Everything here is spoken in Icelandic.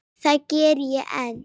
Það geri ég enn.